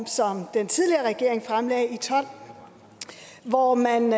som den tidligere regering fremlagde i tolv hvor man